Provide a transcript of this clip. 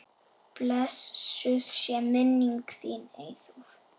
Blessuð sé minning þín, Eyþór.